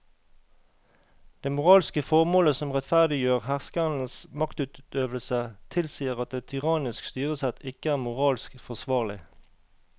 Det moralske formålet som rettferdiggjør herskerens maktutøvelse tilsier at et tyrannisk styresett ikke er moralsk forsvarlig.